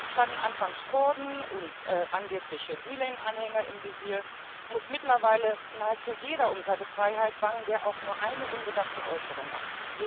Standen anfangs Kurden und angebliche Gülen Anhänger im Visier, muss mittlerweile nahezu jeder um seine Freiheit bangen, der auch nur eine unbedachte Äußerung macht.